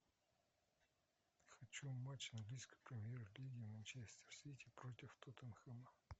хочу матч английской премьер лиги манчестер сити против тоттенхэма